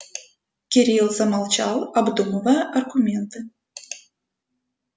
кирилл замолчал обдумывая аргументы